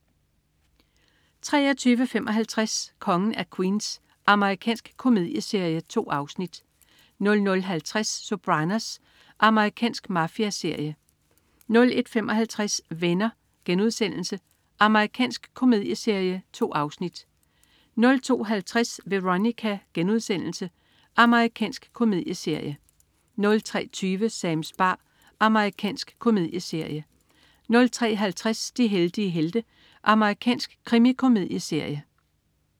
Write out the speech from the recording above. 23.55 Kongen af Queens. Amerikansk komedieserie. 2 afsnit 00.50 Sopranos. Amerikansk mafiaserie 01.55 Venner.* Amerikansk komedieserie. 2 afsnit 02.50 Veronica.* Amerikansk komedieserie 03.20 Sams bar. Amerikansk komedieserie 03.50 De heldige helte. Amerikansk krimikomedieserie